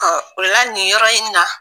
Ɔ o la, nin yɔrɔ in na